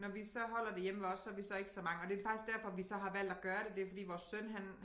Når vi så holder det hjemme ved os så vi så ikke så mange og det faktisk derfor vi så har valgt at gøre det det fordi vores søn han